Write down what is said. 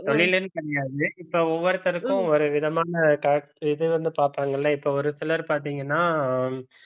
தொழில்ன்னு கிடையாது இப்ப ஒவ்வொருத்தருக்கும் ஒரு விதமான இது வந்து பார்ப்பாங்கல்ல இப்ப ஒரு சிலர் பார்த்தீங்கன்னா